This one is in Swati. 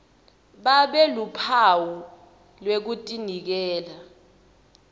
babe luphawu lwekutinikela